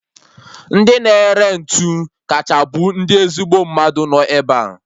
Ndị na-ere ntụ kacha bụ ndị ezigbo mmadụ nọ ebea